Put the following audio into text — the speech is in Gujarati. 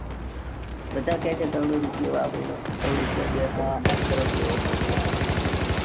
બધા કે છે. કરોડો રૂપિયો વાપર્યો. દસ કરોડ જેવો કોક કે આખા જાલોર ને ખાવાનું હતું. . યોગી આયો તૉ ન.